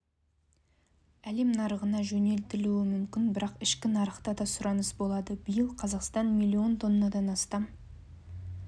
әлем нарығына жөнелтілуі мүмкін бірақ ішкі нарықта да сұраныс болады биыл қазақстан млн тоннадан астам